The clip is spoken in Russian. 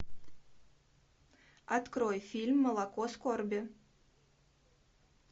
открой фильм молоко скорби